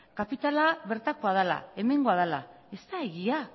kapitala bertakoa dala hemengoa dala ez da egia